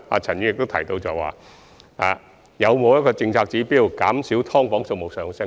陳議員亦問及是否有政策指標，減少"劏房"數目的增加。